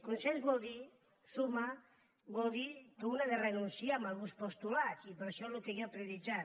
consens vol dir sumar vol dir que un ha de renunciar a alguns postulats i per això el que jo he prioritzat